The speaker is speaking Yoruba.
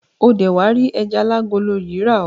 O dé wá rí ẹja alágolo yìí rà oo.